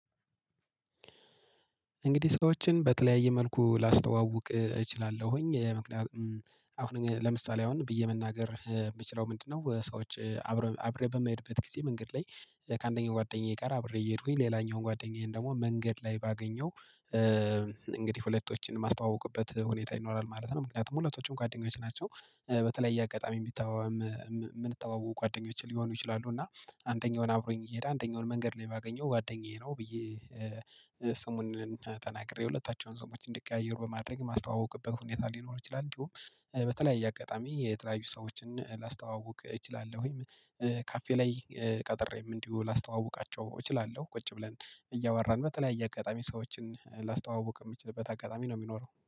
እንግዲህ ሰዎችን በተለያየ መልኩ ላስተዋውቅ እችላለሁኝ ምክንያቱም አሁን ለምሳሌ አሁን ብዬ መናገር የምችለው ምንድነው? ሰዎች አብሬ በማይሄድበት ጊዜ መንገድ ላይ ከአንደኛው ጓደኛዬ ጋር አብሬ እሄድኩኝ ሌላኛውን ጓደኛዬን ደግሞ መንገድ ላይ ባገኘው እንግዲህ ሁለቶችን የማስተዋውቁበት ሁኔታ ይኖራል ማለት ነው። ምክንያቱም ሁለቶችም ጓደኞች ናቸው በተለይ አጋጣሚ የምንተዋውቁ ጓደኞች ሊሆኑ ይችላሉ። እና አንደኛውን አብሮኝ እየሄደ አንደኛውን መንገድ ላይ ባገኘው ጓደኛዬ ነው ብዬ ስሙን ተናግሬ ሁለታቸውን ሰዎችን እንዲቀያየሩ በማድረግ የማስተዋውቅበት ሁኔታ ሊኖር ይችላል። እንዲሁም በተለያየ አጋጣሚ የተለያዩ ሰዎችን ላስተዋውቅ እችላለሁኝ። ካፌ ላይ ቀጥሬም እንዲሁ ላስተዋውቃቸው እችላለሁ ቁጭ ብለን እያወራን በተለያየ አጋጣሚ ሰዎችን ላስተዋውቅ የምችልበት አጋጣሚ ነው የሚኖረው